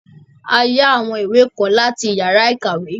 A yá àwọn ìwé kan láti yàrá ìkàwé.